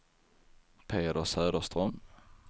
Peder Söderström